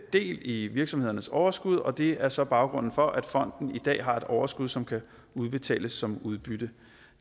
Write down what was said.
del i virksomhedernes overskud og det er så baggrunden for at fonden i dag har et overskud som kan udbetales som udbytte